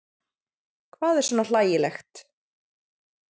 Hvað er svona hlægilegt?